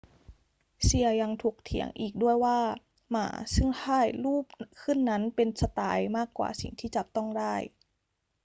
เซียะยังถกเถียงอีกด้วยว่าหม่าซึ่งถ่ายรูปขึ้นนั้นเป็นสไตล์มากกว่าสิ่งที่จับต้องได้